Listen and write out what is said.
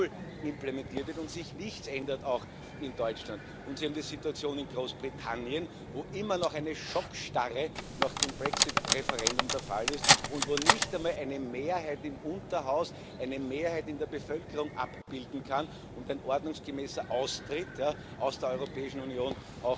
2.0 implementiert wird und sich auch in Deutschland nichts ändert. Und Sie haben die Situation in Großbritannien, wo immer noch eine Schockstarre nach dem Brexit Referendum der Fall ist und wo nicht einmal eine Mehrheit im Unterhaus eine Mehrheit in der Bevölkerung abbilden kann und ein ordnungsgemäßer Austritt aus der Europäischen Union